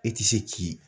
E ti se k'i